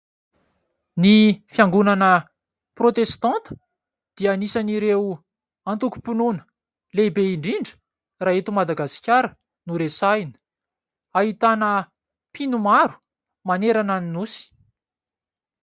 Ny fiangonana protestanta dia anisan'ireo antokom-pinoana lehibe indrindra raha eto Madagasikara no resahina. Ahitana mpino maro manerana ny nosy.